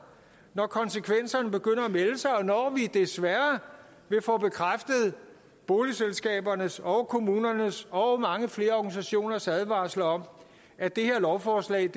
når konsekvenserne begynder at melde sig og når vi desværre vil få bekræftet boligselskabernes og og kommunernes og mange flere organisationers advarsler om at det her lovforslag